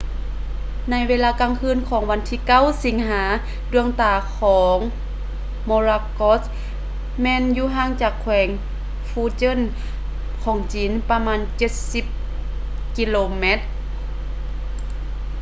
ໃນເວລາກາງຄືນຂອງວັນທີ 9 ສິງຫາ ດວງຕາຂອງ morakot ແມ່ນຢູ່ຫ່າງຈາກແຂວງ fujian ຂອງຈີນປະມານເຈັດສິບກິໂລແມັດ